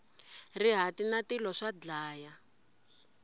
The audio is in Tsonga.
rihati na tilo swa dlaya